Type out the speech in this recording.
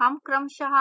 हम क्रमशः